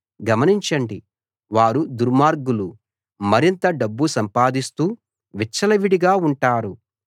గమనించండి వారు దుర్మార్గులు మరింత డబ్బు సంపాదిస్తూ విచ్చలవిడిగా ఉంటారు